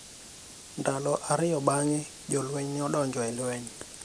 Ndalo ariyo bang'e, jolweny ne odonjo e lweny.